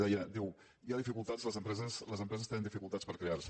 deia diu hi ha dificultats a les empreses les empreses tenen dificultats per crear se